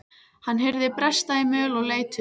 Hann heyrði bresta í möl og leit upp.